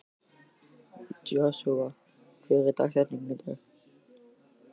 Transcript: Joshua, hver er dagsetningin í dag?